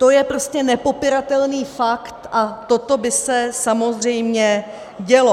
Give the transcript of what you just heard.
To je prostě nepopiratelný fakt a toto by se samozřejmě dělo.